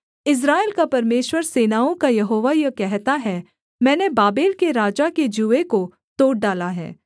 इस्राएल का परमेश्वर सेनाओं का यहोवा यह कहता है मैंने बाबेल के राजा के जूए को तोड़ डाला है